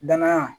Danaya